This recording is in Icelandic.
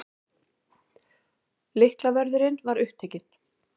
Lyklavörðurinn var upptekinn.